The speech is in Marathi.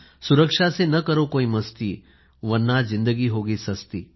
सुरक्षा से न करो कोई मस्ती वर्ना ज़िंदगी होगी सस्ती